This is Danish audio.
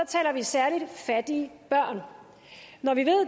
taler vi særligt fattige børn når vi ved